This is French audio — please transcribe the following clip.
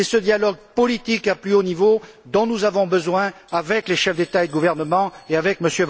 C'est ce dialogue politique au plus haut niveau dont nous avons besoin avec les chefs d'État et de gouvernement et avec M.